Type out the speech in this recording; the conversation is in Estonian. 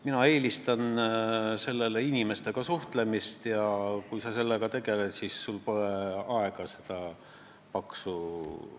Mina eelistan sellele inimestega suhtlemist ja kui sa sellega tegeled, siis sul pole aega seda paksu ...